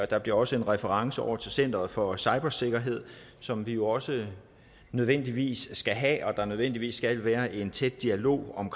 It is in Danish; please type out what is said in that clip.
der bliver også en reference over til center for cybersikkerhed som vi jo også nødvendigvis skal have og som der nødvendigvis skal være en tæt dialog med om